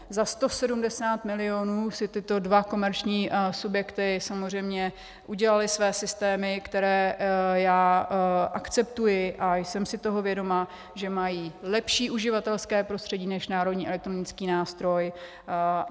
Za 170 milionů si tyto dva komerční subjekty samozřejmě udělaly své systémy, které já akceptuji, a jsem si toho vědoma, že mají lepší uživatelské prostředí než Národní elektronický nástroj.